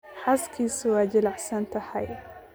Xaaskiisu waa jilicsan tahay